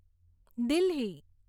Delhi